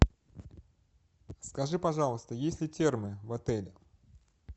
скажи пожалуйста есть ли термы в отеле